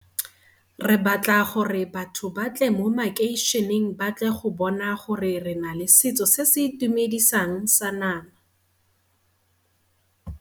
Re batla gore batho ba tle mo makeišeneng ba tle go bona gore re na le setso se se itumedisang sa ama